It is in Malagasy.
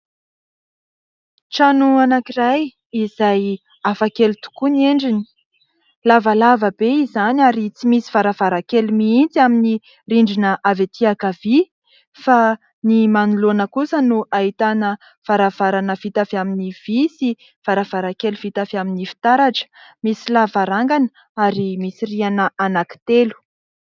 Trano anankiray izay hafa kely tokoa ny endriny : lavalava be izy izany ary tsy misy varavarankely mihitsy amin'ny rindrina avy aty ankavia fa ny manoloana kosa no ahitana varavarana vita avy amin'ny vy sy varavarankely vita avy amin'ny fitaratra. Misy lavarangana ary misy rihana anankitelo.